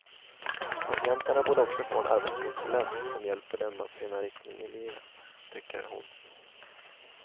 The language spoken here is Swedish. Patienterna borde också få en arbetskonsulent som hjälper dem att finna riktning i livet, tycker hon.